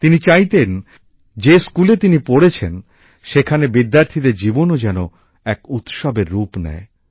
তিনি চাইতেন যে স্কুলে তিনি পড়েছেন সেখানের বিদ্যার্থীদের জীবনও যেন এক উৎসবের রুপ নেয়